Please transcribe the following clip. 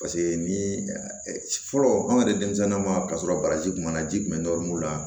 Paseke ni fɔlɔ an ka di denmisɛnninw ma k'a sɔrɔ baraji kun b'a la ji kun bɛ la